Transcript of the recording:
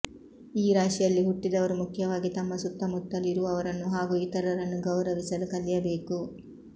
ಈ ರಾಶಿಯಲ್ಲಿ ಹುಟ್ಟಿದವರು ಮುಖ್ಯವಾಗಿ ತಮ್ಮ ಸುತ್ತಮುತ್ತಲು ಇರುವವರನ್ನು ಹಾಗೂ ಇತರರನ್ನು ಗೌರವಿಸಲು ಕಲಿಯಬೇಕು